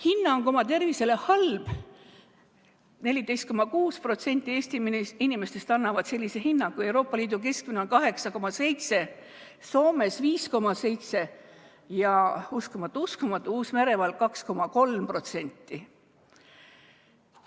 Hinnang oma tervisele: "halb" – 14,6% Eesti inimestest annavad sellise hinnangu, Euroopa Liidu keskmine on 8,7%, Soomes 5,7% ning – uskumatu-uskumatu – Uus-Meremaal 2,3%.